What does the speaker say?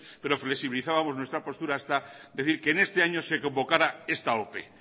pero flexibilizábamos nuestra postura hasta decir que en este año se convocara esta ope